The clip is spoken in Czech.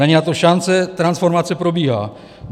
Není na to šance, transformace probíhá.